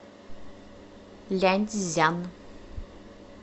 ляньцзян